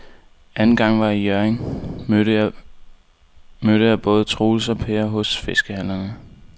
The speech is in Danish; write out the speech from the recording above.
Anden gang jeg var i Hjørring, mødte jeg både Troels og Per hos fiskehandlerne.